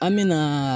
An me na